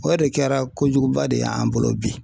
O de kɛra kojuguba de y'an bolo bi